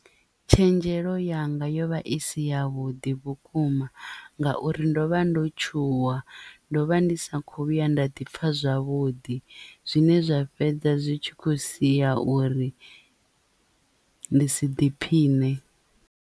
Tshenzhelo yanga yo vha i si yavhuḓi vhukuma ngauri ndo vha ndo tshuwa ndo vha ndi sa kho vhuya nda ḓi pfha zwavhuḓi zwine zwa fhedza zwi tshi khou siya uri ndi si ḓiphiṋe.